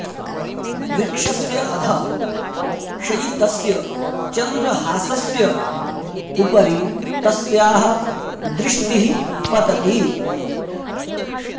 वृक्षस्य अधः शयितस्य चन्द्रहासस्य उपरि तस्याः दृष्टिः पतति